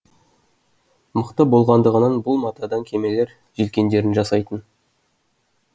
мықты болғандығынан бұл матадан кемелер желкендерін жасайтын